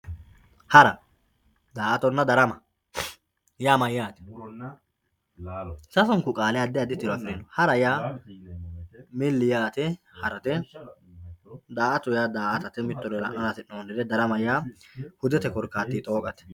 Hara, daa'atonna, darama yaa mayate , sasunku qaali adi adi tiro afirino hara yaa mili yaate haratte, daa'ato yaa daa'atatte mittore la'nara hasinonire, darama yaa hudette korikattinni xooqqatte